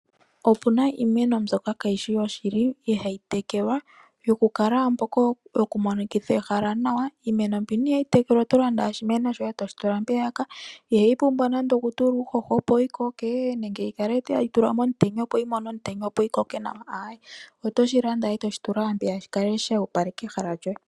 Opuna iimeno mbyoka kayishi yoshili, ihayi tekelwa. Yoku monikitha ehala ewanawa . Iimeno mbika ihayi tekelwa oto landa ashike oshimeno shoye, e toshi tula mpeyaka. Ihayi pumbwa nande okutulwa nande uuhoho opo yi koke, nenge yi kale tayi tulwa momutenya opo yi mone omutenya opo yi koke nawa. Otoshi landa e toshi tula mpeya, shi kale sho opaleka ehala lyoye.